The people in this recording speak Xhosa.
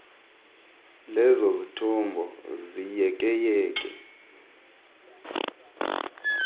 lezo zithombo ziyekeyeke